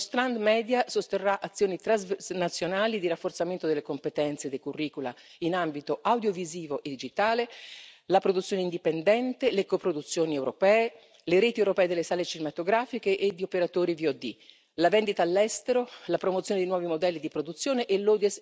Il settore media sosterrà azioni transnazionali di rafforzamento delle competenze dei curricula in ambito audiovisivo e digitale, la produzione indipendente, le coproduzioni europee, le reti europee delle sale cinematografiche e di operatori video on demand la vendita all'estero, la promozione di nuovi modelli di produzione e il